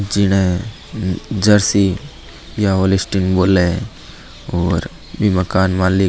जीने जार सी या बोले और बी मकान मालिक --